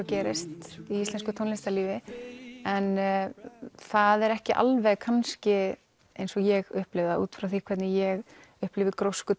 gerist í íslensku tónlistarlífi en það er ekki alveg kannski eins og ég upplifi það út frá því hvernig ég upplifi grósku